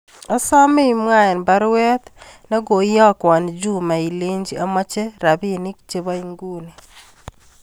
Asome imwa en baruet nego iyokwon Juma ilenchini amoche rapini chebo inguni